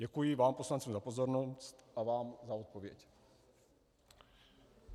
Děkuji vám poslancům za pozornost a vám za odpověď.